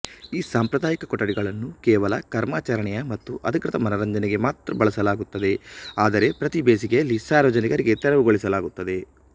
ಈ ಸಾಂಪ್ರದಾಯಿಕ ಕೊಠಡಿಗಳನ್ನು ಕೇವಲ ಕರ್ಮಾಚರಣೆಯ ಮತ್ತು ಅಧಿಕೃತ ಮನರಂಜನೆಗೆ ಮಾತ್ರ ಬಳಸಲಾಗುತ್ತದೆ ಆದರೆ ಪ್ರತಿ ಬೇಸಿಗೆಯಲ್ಲಿ ಸಾರ್ವಜನಿಕರಿಗೆ ತೆರವುಗೊಳಿಸಲಾಗುತ್ತದೆ